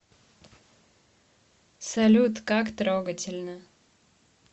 салют как трогательно